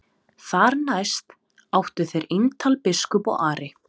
Þar næst áttu þeir eintal biskup og Ari.